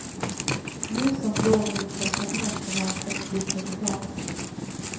Nu som då med inställsamhet som önskat slutresultat.